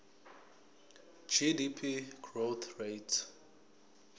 gdp growth rate